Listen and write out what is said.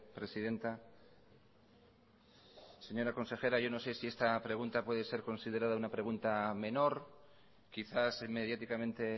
presidenta señora consejera yo no sé si esta pregunta puede ser considerada una pregunta menor quizás mediaticamente